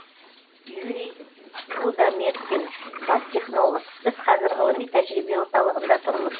юрий рудометкин бас технолог біз қазір ғылыми тәжірибе орталығында тұрмыз